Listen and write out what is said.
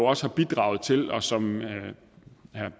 også har bidraget til og som